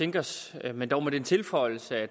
tænke os men dog med den tilføjelse at